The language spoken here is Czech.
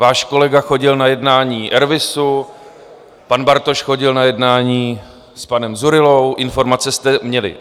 Váš kolega chodil na jednání RVISu, pan Bartoš chodil na jednání s panem Dzurillou, informace jste měli.